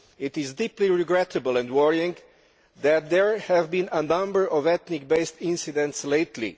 It is deeply regrettable and worrying that there have been a number of ethnic based incidents lately.